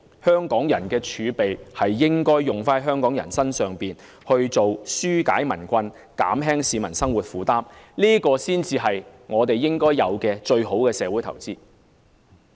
香港人的財政儲備應該用在香港人身上，紓解民困，減輕市民生活負擔，這才是應該的、最好的社會投資。